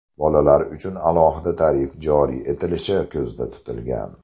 Bolalar uchun alohida tarif joriy etilishi ko‘zda tutilgan.